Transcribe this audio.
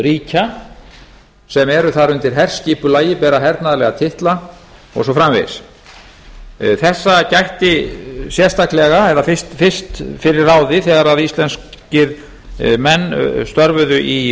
ríkja sem eru þar undir herskipulagi bera hernaðarlega titla og svo framvegis þessa gætti fyrst að ráði þegar íslenskir menn störfuðu í